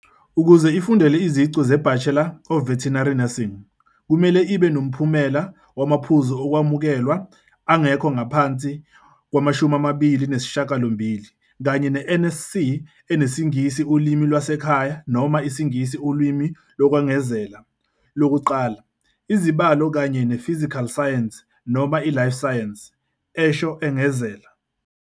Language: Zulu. "Ukuze ifundele iziqu ze-Bachelor of Veterinary Nursing, kumele ibe noMphumela wamaPhuzu Okwamukelwa angekho ngaphansi kwama28 kanye ne-NSC eneSingisi Ulimi Lwasekhaya noma IsiNgisi Ulimi Lokwengezela Lokuqala, izibalo, kanye ne-physical science noma i-life sciences," esho engezela.